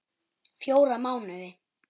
Fjóra mánuði.